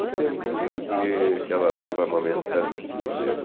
O tempo que que que ela leva amamentando este bezerro.